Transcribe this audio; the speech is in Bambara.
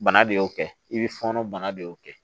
Bana de y'o kɛ i bɛ fɔɔnɔ bana de y'o kɛ